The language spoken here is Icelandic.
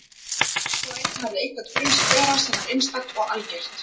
Hver og einn hafði eitthvað til brunns að bera sem var einstakt og algert.